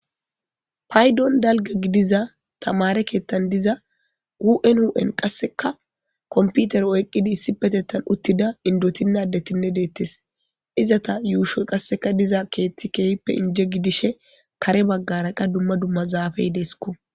paydon dalga gidiza tamare keettan diza wun wun qasseka komputer oyqqidi issi petettan uttida indotinaddetinne deettes izata yuushoy qasseka diza keeththi keehippe inje gidishe kare baggara qa dumma dumma zaafey deeskko